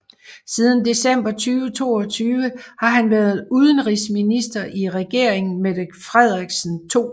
Siden december 2022 har han været udenrigsminister i regeringen Mette Frederiksen II